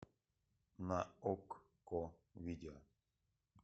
на окко видео